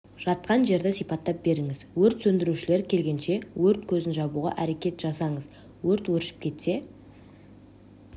жатқан жерді сипаттап беріңіз өрт сөндірушілер келгенше өрт көзін жабуға әрекет жасаңыз өрт өршіп кетсе